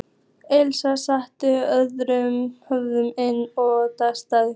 Elías stakk höfðinu inn um dyragættina.